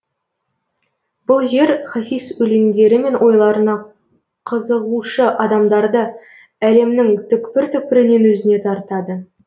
бұл жер хафиз өлеңдері мен ойларына қызығушы адамдарды әлемнің түкпір түкпірінен өзіне тартады